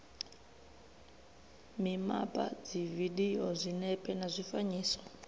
mimapa dzividio zwinepe na zwifanyiso